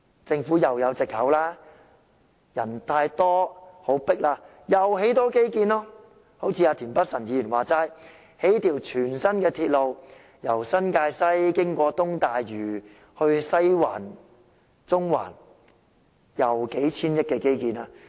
政府又可以有藉口了，人多擠迫的話，又可以推出多些基建，正如田北辰議員所說，興建一條全新的鐵路，由新界西經東大嶼往西環和中環，是數千億元的基建。